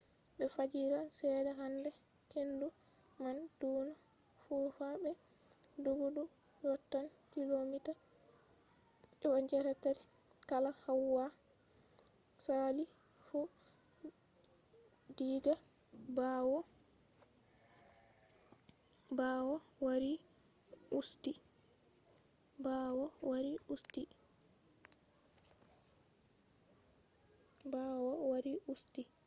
be fajira seɗɗa hande hendu man ɗonno fufa be doggudu yottan kilomita 83 kala hawa sali fu diga ɓawo wari usti